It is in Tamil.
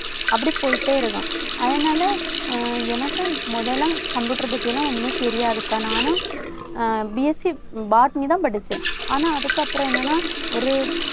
அப்படி போயிட்டே இருக்கலாம். அதனால அஹ் எனக்கு முதல்ல computer பத்தி எல்லாம் ஒண்ணுமே தெரியாதுக்கா. நானும் ஆஹ் BSC botany தான் படிச்சேன். ஆனா அதுக்கப்புறம் என்னன்னா ஒரு